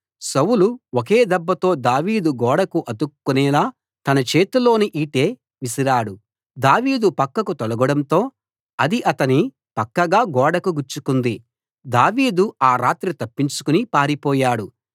సౌలు ఒకే దెబ్బతో దావీదు గోడకు అతుక్కునేలా తన చేతిలోని ఈటె విసిరాడు దావీదు పక్కకు తొలగడంతో అది అతని పక్కగా గోడకు గుచ్చుకుంది దావీదు ఆ రాత్రి తప్పించుకుని పారిపోయాడు